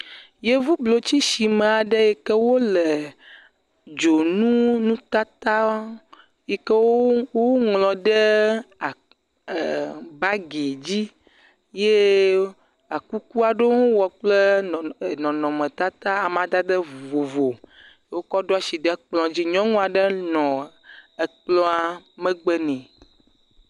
Yevublotsisime aɖe yi ke woleee dzonu, nutatawo, yi ke wo, woŋlɔ ɖee aa, ɛɛɛ baagi dzi. Eye ekuku aɖewo hɔ̃ wowɔ kple nɔ, nɔnɔmetata amadade vovovo. Wokɔ ɖo ashi ɖe kplɔ̃dzi. Nyɔnu aɖe nɔɔ ekplɔ̃a megbe nɛ.